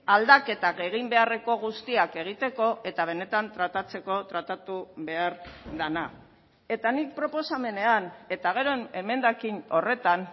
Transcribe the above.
aldaketak egin beharreko guztiak egiteko eta benetan tratatzeko tratatu behar dena eta nik proposamenean eta gero emendakin horretan